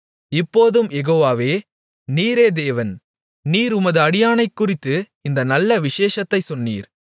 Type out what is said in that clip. இப்போதும் யெகோவாவே நீரே தேவன் நீர் உமது அடியானைக்குறித்து இந்த நல்ல விசேஷத்தைச் சொன்னீர்